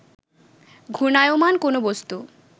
ঘূর্ণায়মান কোন বস্তু